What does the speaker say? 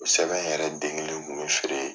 U sɛbɛn yɛrɛ den kelen kun bɛ feere.